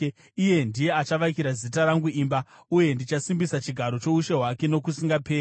Iye ndiye achavakira Zita rangu imba, uye ndichasimbisa chigaro choushe hwake nokusingaperi.